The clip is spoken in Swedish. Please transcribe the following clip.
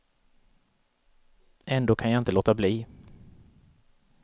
Ändå kan jag inte låta bli.